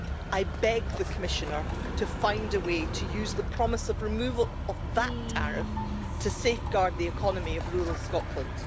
I beg the Commissioner to find a way to use the promise of removal of that tariff to safeguard the economy of rural Scotland.